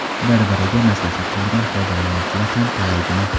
Bir-biriga maslahat bergan foydalanuvchilar ham talaygina.